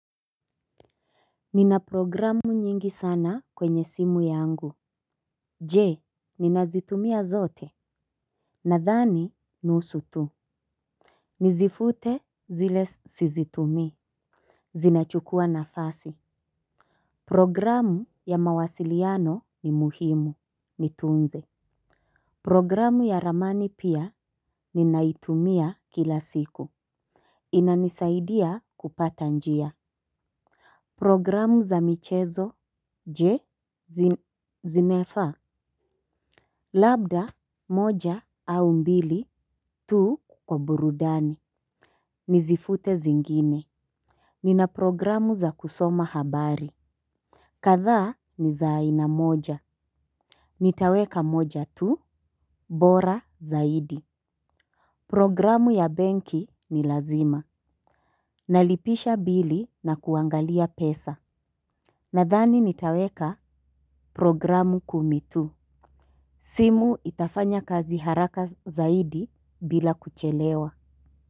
Nina programu nyingi sana kwenye simu yangu. Je ninazitumia zote nadhani nusu tu. Nizifute zile sizitumii. Zinachukua nafasi. Programu ya mawasiliano ni muhimu nitunze. Programu ya ramani pia ninaitumia kila siku. Inanisaidia kupata njia. Programu za michezo je zinafaa. Labda, moja, au mbili, tu kwa burudani. Nizifute zingine. Nina programu za kusoma habari. Kadhaa ni za aina moja. Nitaweka moja tu, bora zaidi. Programu ya benki ni lazima. Nalipisha bili na kuangalia pesa. Nadhani nitaweka programu kumi tu. Simu itafanya kazi haraka zaidi bila kuchelewa.